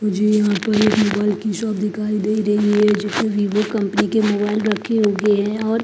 मुझे यहां पर एक मोबाइल की शॉप दिखाई दे रही है भी वो कंपनी के मोबाइल रखे हुए हैं और--